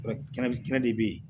kɛnɛ kɛnɛ de bɛ ye